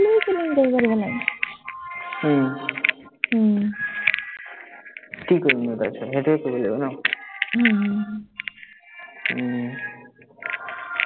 উম কি কৰিম মই তাৰ পিচত, সেইটোৱে কৰিব লাগিব ন,